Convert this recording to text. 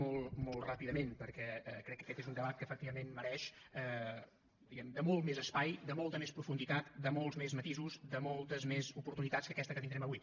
molt ràpidament perquè crec que aquest és un debat que efectivament mereix diguem ne de molt més espai de molta més profunditat de molts més matisos de moltes més oportunitats que aquesta que tindrem avui